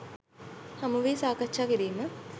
හමුවී සාකච්ඡා කිරීම